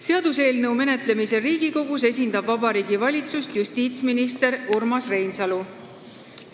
Seaduseelnõu menetlemisel Riigikogus esindab Vabariigi Valitsust justiitsminister Urmas Reinsalu.